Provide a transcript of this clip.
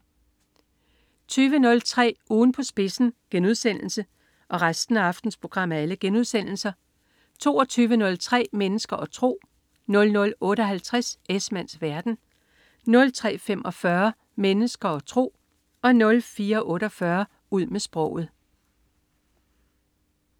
20.03 Ugen på spidsen* 22.03 Mennesker og tro* 00.58 Esmanns verden* 03.45 Mennesker og tro* 04.48 Ud med sproget*